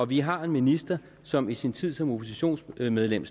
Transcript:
vi har en minister som i sin tid som oppositionsmedlem